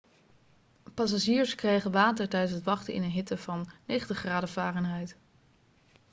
passagiers kregen water tijdens het wachten in een hitte van 90 graden fahrenheit